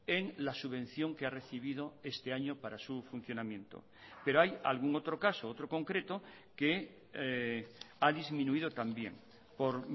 en la subvención que ha recibido este año para su funcionamiento pero hay algún otro caso otro concreto que ha disminuido también por